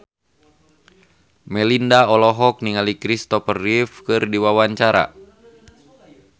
Melinda olohok ningali Kristopher Reeve keur diwawancara